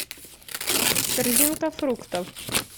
корзинка фруктов